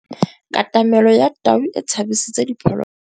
Katamêlô ya tau e tshabisitse diphôlôgôlô.